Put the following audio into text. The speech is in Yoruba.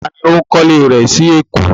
Tá ní ó ń kọ́lé rẹ sí Èkó?